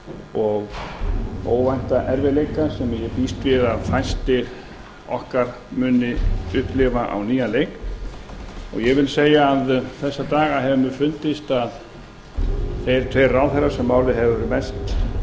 og óvænta erfiðleika sem ég býst við að fæst okkar muni upplifa á nýjan leik ég vil segja að þessa daga hefur mér fundist að þeir tveir ráðherrar sem málið hefur mest